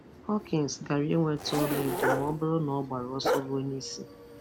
Hawkins gara ịnweta ọlaedo ma ọ́bụ́rụ́ na ọ gbara ọsọ rụ́e n’isi.